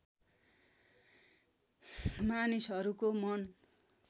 मानिसहरूको मन